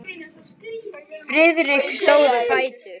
Friðrik stóð á fætur.